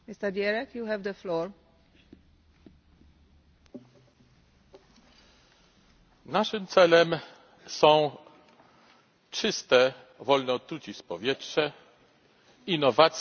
Naszym celem są czyste, wolne od trucizn powietrze, innowacje ekologiczne, ochrona kapitału naturalnego, nowe, proekologiczne technologie.